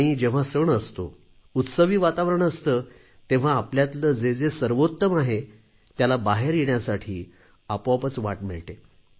आणि जेव्हा सण असतो उत्सवी वातावरण असते तेव्हा आपल्यातले जे जे सर्वोत्तम आहे त्याला बाहेर येण्यासाठी आपोआपच वाट मिळते